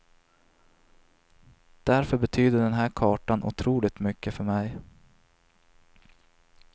Därför betyder den här kartan otroligt mycket för mig.